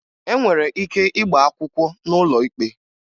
E nwere ike ịgba akwụkwọ n'ụlọ ikpe